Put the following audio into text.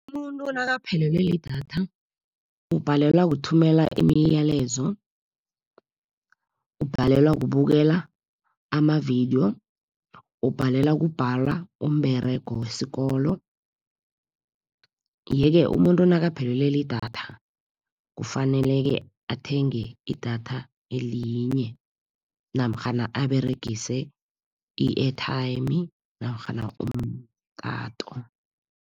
Umuntu nakaphelelwe lidatha, ubhalelwa kuthumela imiyalezo, ubhalelwa kubukela amavidiyo, ubhalelwa kubhala umberego wesikolo. Yeke umuntu nakaphelelwe lidatha kufanele-ke athenge idatha elinye, namkhana aberegise i-airtime namkhana umtato.